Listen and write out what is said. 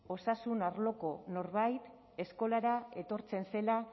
osasun arloko norbait eskolara etortzen zela